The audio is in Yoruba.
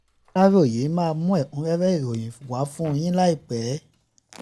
aláròye máa mú ẹ̀kúnrẹ́rẹ́ ìròyìn wá fún yín láìpẹ́